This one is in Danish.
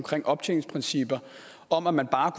optjeningsprincippet om at man bare